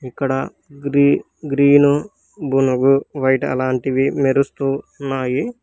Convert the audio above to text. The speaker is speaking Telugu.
ఇక్కడ గ్రీ గ్రీను బునుగు వైట్ అలాంటివి మెరుస్తూ ఉన్నాయి.